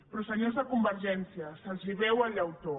però senyors de convergència se’ls veu el llautó